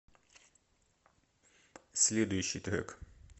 следующий трек